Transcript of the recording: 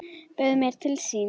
Bauð mér til sín.